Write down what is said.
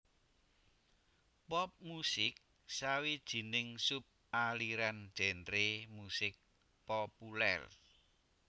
Pop musik sawijining sub aliran genre musik populèr